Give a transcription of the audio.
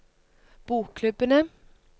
bokklubbene